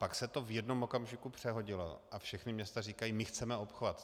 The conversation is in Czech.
Pak se to v jednom okamžiku přehodilo a všechna města říkají: My chceme obchvat.